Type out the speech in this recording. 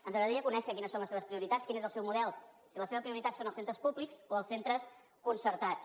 ens agradaria conèixer quines són les seves prioritats quin és el seu model si la seva prioritat són els centres públics o els centres concertats